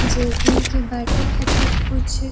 जे एकनि के बाटे ख़ातिर कुछ --